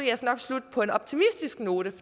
på en optimistisk note